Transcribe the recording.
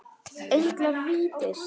Englar vítis